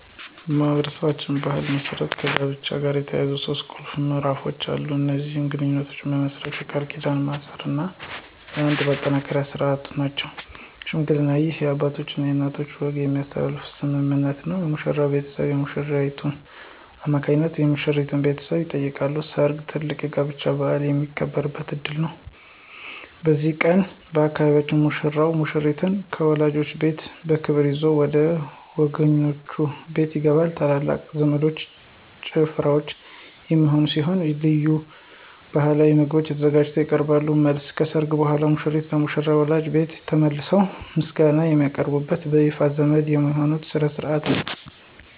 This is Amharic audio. በማኅበረሰባችን ባሕል መሠረት ከጋብቻ ጋር የተያያዙ ሦስት ቁልፍ ምዕራፎች አሉ። እነዚህም የግንኙነት መመስረት፣ የቃል ኪዳን ማሰርና የአንድነት ማጠናከሪያ ሥርዓቶች ናቸው። ሽምግልና: ይህ የአባቶችና የእናቶች ወገኖች የሚሳተፉበት ስምምነት ነው። የሙሽራው ቤተሰብ በሽማግሌዎች አማካኝነት የሙሽሪትን ቤተሰብ ይጠይቃሉ። ሰርግ: ትልቁ የጋብቻ በዓል የሚከበርበት ዕለት ነው። በዚህ ቀን፣ በአካባቢያችን ሙሽራው ሙሽሪትን ከወላጆቿ ቤት በክብር ይዞ ወደ ወገኖቹ ቤት ይገባል። ታላላቅ ዘፈኖችና ጭፈራዎች የሚካሄዱ ሲሆን፣ ልዩ ባሕላዊ ምግቦች ለተጋባዦች ይቀርባሉ። መልስ : ከሠርጉ በኋላ ሙሽሮች ለሙሽሪት ወላጆች ቤት ተመልሰው ምስጋና የሚያቀርቡበትና በይፋ ዘመድ የሚሆኑበት ሥነ ሥርዓት ነው።